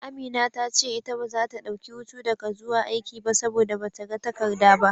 Amina ta ce ita baza ta dauki hutu daga zuwa aiki ba, saboda bata ga takarda ba.